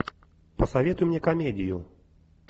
посоветуй мне комедию